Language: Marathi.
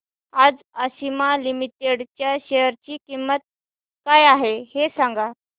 आज आशिमा लिमिटेड च्या शेअर ची किंमत काय आहे हे सांगा